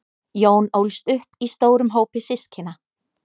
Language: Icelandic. jón ólst upp í stórum hópi systkina